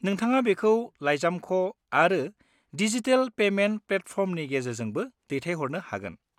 नोंथाङा बेखौ लाइजामख' आरो डिजिटेल पेमेन्ट प्लेटफर्मनि गेजेरजोंबो दैथायहरनो हागोन।